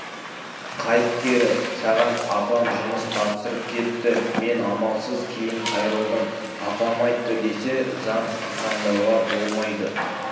қайт кері саған апам жұмыс тапсырып кетті мен амалсыз кейін қайрылдым апам айтты десе заң қиқаңдауға болмайды